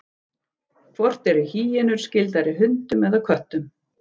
Hvort eru hýenur skyldari hundum eða köttum?